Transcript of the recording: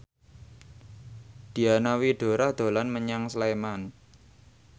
Diana Widoera dolan menyang Sleman